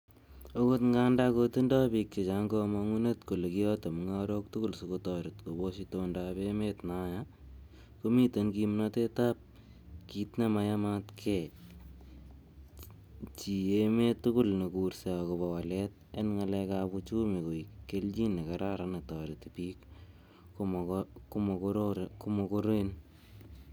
Okot ngandan kotindoi bik chechang komongunet kole kiyote mungarok tugul sikotoret kobosh itondob emet nayaa, komiten kimnotet ab kit nemayamatgee chii emet tugul nekurse agoba walet en ngalekab uchumi koik kelyin nekararan netoreti bik ko mogoren.